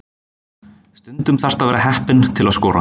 Stundum þarftu að vera heppinn til að skora.